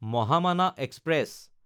Mahamana express